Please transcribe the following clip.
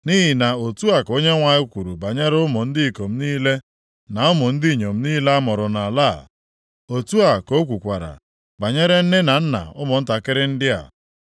Nʼihi na otu a ka Onyenwe anyị kwuru banyere ụmụ ndị ikom niile na ụmụ ndị inyom niile a mụrụ nʼala a. Otu a ka ọ kwukwara banyere nne na nna ụmụntakịrị ndị a.